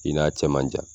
I n'a cɛ man jan